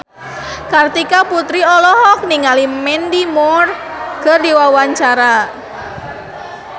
Kartika Putri olohok ningali Mandy Moore keur diwawancara